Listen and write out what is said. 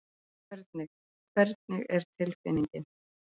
Hvernig, hvernig er tilfinningin?